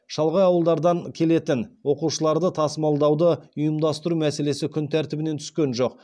шалғай ауылдардан келетін оқушыларды тасымалдауды ұйымдастыру мәселесі күн тәртібінен түскен жоқ